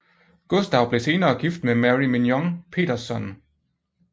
Gustav blev senere gift med Merry Mignon Petersson